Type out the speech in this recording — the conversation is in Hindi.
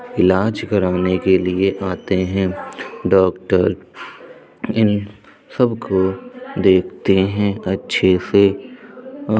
इलाज कराने के लिए आते हैं डॉक्टर इन सब को देखते है अच्छे से और --